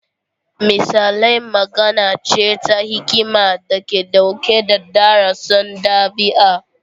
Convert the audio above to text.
Misalai magana ce ta hikima da ke ɗauke da darussan ɗabi'a.